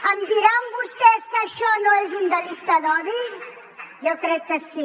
em diran vostès que això no és un delicte d’odi jo crec que sí